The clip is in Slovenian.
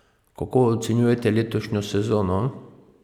Kako ocenjujete letošnjo sezono?